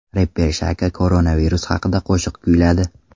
Reper Shaka koronavirus haqida qo‘shiq kuyladi .